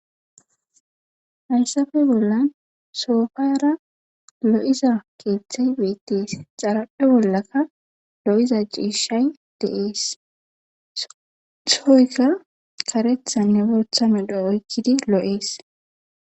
Haysappe bollan sopara lo'iza kethey betes.